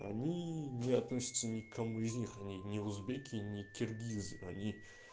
они не относятся никому из них не узбеки не киргизы они